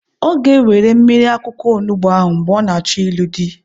Ọ ga-ewere mmiri akwụkwọ onugbo ahụ mgbe ọ na-achọ ịlụ di.